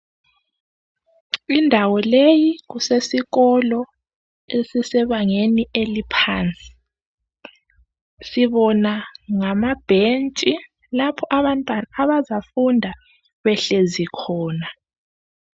Indawo leyi kusesikolo esisebangeni eliphansi sibona ngamabhentshi lapho abantwana abazafunda behlezi khona.